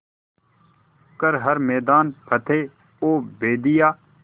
कर हर मैदान फ़तेह ओ बंदेया